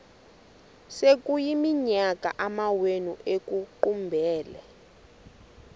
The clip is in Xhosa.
sekuyiminyaka amawenu ekuqumbele